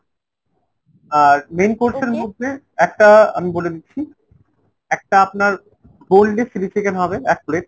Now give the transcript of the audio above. আর main course এর মধ্যে একটা আমি বলে দিচ্ছি একটা আপনার boneless chili chicken হবে এক plate।